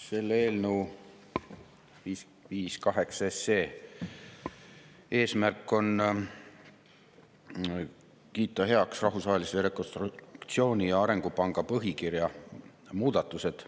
Selle eelnõu 558 eesmärk on kiita heaks Rahvusvahelise Rekonstruktsiooni‑ ja Arengupanga põhikirja muudatused.